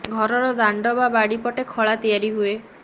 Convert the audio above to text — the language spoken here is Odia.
ଘରର ଦାଣ୍ଡ ବା ବାଡ଼ି ପଟେ ଖଳା ତିଆରି ହୁଏ